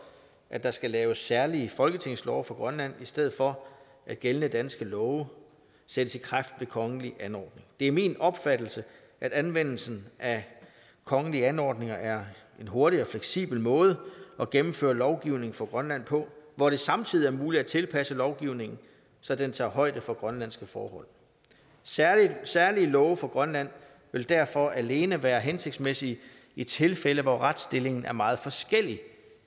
at der skal laves særlige folketingslove for grønland i stedet for at gældende danske love sættes i kraft ved kongelig anordning det er min opfattelse at anvendelsen af kongelige anordninger er en hurtig og fleksibel måde at gennemføre lovgivning for grønland på hvor det samtidig er muligt at tilpasse lovgivningen så den tager højde for grønlandske forhold særlige særlige love for grønland vil derfor alene være hensigtsmæssige i tilfælde hvor retsstillingen er meget forskellig